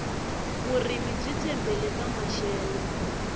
vurimi byi tshembele ka maxelo